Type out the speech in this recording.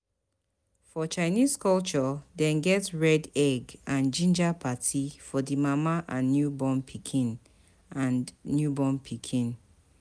For chinese culture dem get red egg and ginger parti for di mama and newborn pikin and newborn pikin